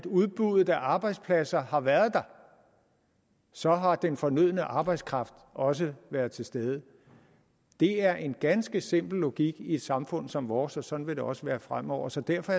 udbuddet af arbejdspladser har været der så har den fornødne arbejdskraft også været til stede det er en ganske simpel logik i et samfund som vores og sådan vil det også være fremover så derfor